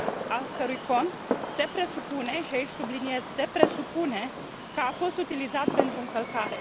al cărui cont se presupune și aici subliniez se presupune că a fost utilizat pentru încălcare.